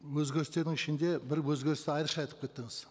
өзгеірстердің ішінде бір өзгерісті айрықша айтып кеттіңіз